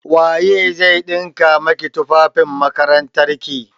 Waye zai ɗinka maki tufafin makarantarki?